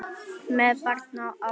Með barn á armi?